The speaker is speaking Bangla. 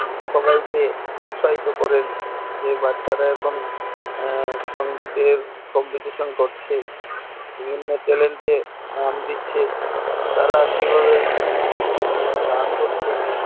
সবাইকে উৎসাহিত করেন যে বাচ্চারা এখন সঙ্গীতের competition করছে বিভিন্ন channel নাম দিচ্ছেন তারা কিভাবে গান করছে